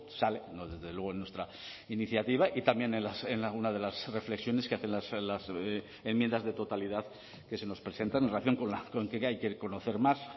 sale desde luego en nuestra iniciativa y también en alguna de las reflexiones que hacen las enmiendas de totalidad que se nos presentan en relación con que hay que conocer más